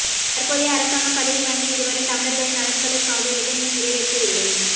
தற்போதைய அரசாங்கம் பதவி வந்து இதுவரை தமிழர்களின் நலன்களுக்காக எதனையும் நிறைவேற்றவில்லை